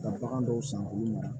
Ka bagan dɔw san olu ma